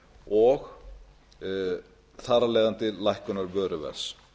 og þar af leiðandi lækkunar vöruverðs